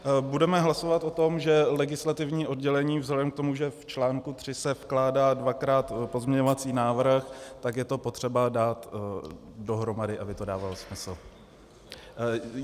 Budeme hlasovat o tom, že legislativní oddělení vzhledem k tomu, že v článku tři se vkládá dvakrát pozměňovací návrh, tak je to potřeba dát dohromady, aby to dávalo smysl.